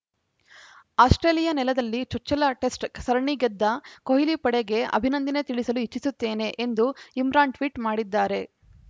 Australia ನೆಲದಲ್ಲಿ ಚುಚ್ಚಲ test ಸರಣಿ ಗೆದ್ದ ಕೊಹ್ಲಿ ಪಡೆಗೆ ಅಭಿನಂದನೆ ತಿಳಿಸಲು ಇಚ್ಛಿಸುತ್ತೇನೆ ಎಂದು ಇಮ್ರಾನ್‌ ಟ್ವೀಟ್‌ ಮಾಡಿದ್ದಾರೆ